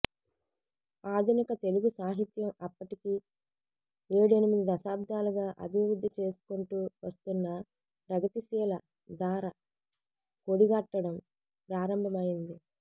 ఆధునిక తెలుగు సాహిత్యం అప్పటికి ఏడెనిమిది దశాబ్దాలుగా అభివృద్ధి చేసుకుంటూ వస్తున్న ప్రగతిశీల ధార కొడిగట్టడం ప్రారంభమైంది